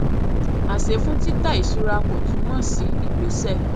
àṣẹ fún tita ìṣura kò túmọ sí ìgbésẹ